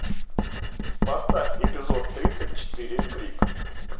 поставь эпизод тридцать четыре крик